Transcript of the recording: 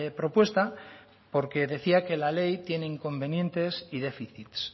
propuesta porque decía que la ley tiene inconvenientes y déficits